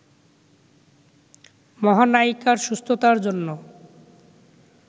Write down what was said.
মহানায়িকার সুস্থতার জন্য